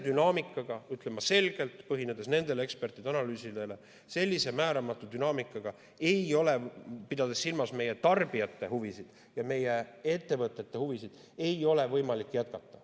Ma ütlen selgelt, põhinedes ekspertide analüüsidel: sellise määramatu dünaamikaga, pidades silmas meie tarbijate huvisid ja meie ettevõtete huvisid, ei ole võimalik jätkata.